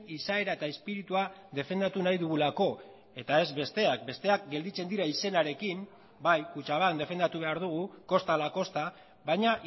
izaera eta espiritua defendatu nahi dugulako eta ez besteak besteak gelditzen dira izenarekin bai kutxabank defendatu behar dugu kosta ala kosta baina